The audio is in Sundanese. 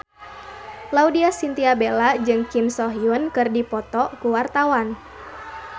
Laudya Chintya Bella jeung Kim So Hyun keur dipoto ku wartawan